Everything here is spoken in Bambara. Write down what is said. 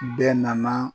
Bɛɛ nana